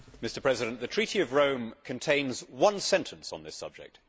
Mr President, the Treaty of Rome contains one sentence on this subject.